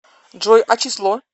джой а число